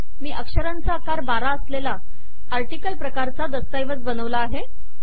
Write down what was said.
मी अक्षरांचा आकार १२ असलेला आर्टिकल प्रकारचा दस्तऐवज बनवला आहे